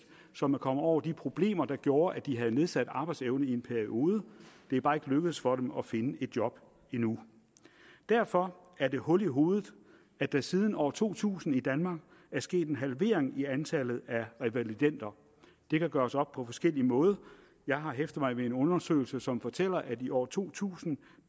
som er kommet over de problemer der gjorde at de havde nedsat arbejdsevne i en periode det er bare ikke lykkedes for dem at finde et job endnu derfor er det hul i hovedet at der siden år to tusind i danmark er sket en halvering i antallet af revalidender det kan gøres op på forskellig måde jeg har hæftet mig ved en undersøgelse som fortæller at i år to tusind